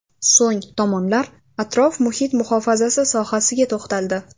So‘ng tomonlar atrof-muhit muhofazasi sohasiga to‘xtaldi.